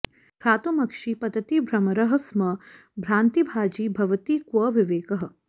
घ्रातुमक्षि पतति भ्रमरः स्म भ्रान्तिभाजि भवति क्व विवेकः